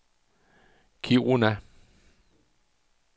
Kiruna